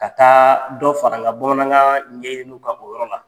Ka taa dɔ fara n ka bamanankan ɲeyilu ka o yɔrɔ la.